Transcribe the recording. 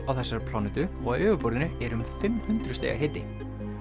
á þessari plánetu og á yfirborðinu er um fimm hundruð stiga hiti